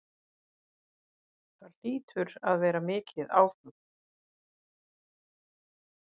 Það hlýtur að vera mikið áfall?